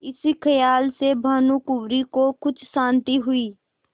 इस खयाल से भानुकुँवरि को कुछ शान्ति हुई